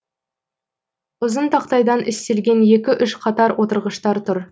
ұзын тақтайдан істелген екі үш қатар отырғыштар тұр